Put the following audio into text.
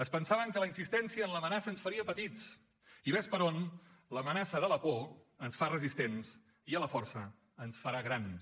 es pensaven que la insistència en l’amenaça ens faria petits i ves per on l’amenaça de la por ens fa resistents i a la força ens farà grans